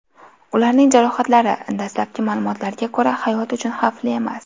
Ularning jarohatlari, dastlabki ma’lumotlarga ko‘ra, hayot uchun xavfli emas.